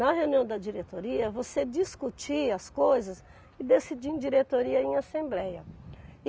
Na reunião da diretoria, você discutia as coisas e decidia em diretoria e em assembleia.